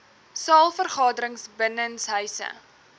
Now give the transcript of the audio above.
saal vergaderings binnenshuise